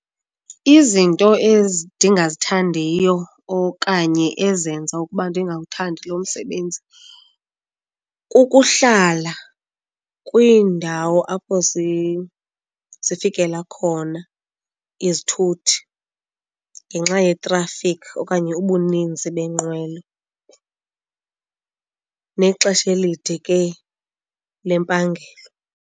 Izinto ezi ndingazithandiyo okanye ezenza ukuba ndingawuthandi lo msebenzi kukuhlala kwiindawo apho zifikela khona izithuthi ngenxa yetrafikhi okanye ubuninzi beenqwelo nexesha elide ke lempangelo.